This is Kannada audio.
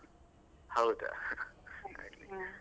ಹಾದಾ, ಆಗ್ಲಿ.